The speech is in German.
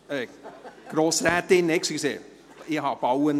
Ach so, von Grossrätin Bauer.